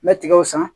N bɛ tigɛw san